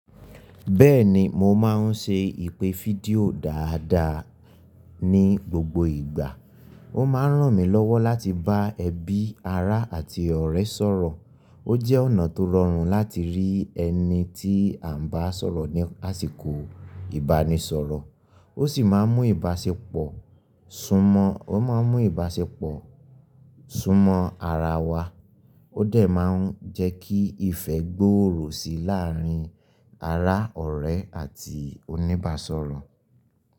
Bẹ́ẹ̀ni, mo máa ń ṣe ìpè fídíò dáadáa ní gbogbo ìgbà. Ó máa ń ràn mí lọ́wọ́ láti bá ẹbí, ará àti ọ̀rẹ́ sọ̀rọ̀. Ó jẹ́ ọ̀nà tó rọrùn láti rí ẹni tí à ń bá sọ̀rọ̀ ní àsìkò ìbánisọ̀rọ̀. Ó sì máa ń mú ìbáṣepọ̀ súnmọ́, ó máa ń mú ìbáṣepọ̀ súnmọ́ ara wa. Ó dẹ̀ máa ń jẹ́ kí ìfẹ́ gbòòrò sí i láàárín ará ọ̀rẹ́ àti oníbàsọ̀rọ̀.